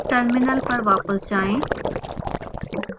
terminal पर वापस जाएं